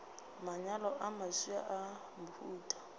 manyalo a mafsa a mohuta